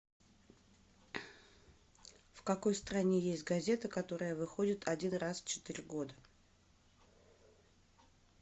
в какой стране есть газета которая выходит один раз в четыре года